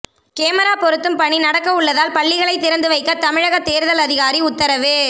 camera பொருத்தும் பணி நடக்க உள்ளதால் பள்ளிகளை திறந்து வைக்க தமிழக தேர்தல் அதிகாரி உத்தரவு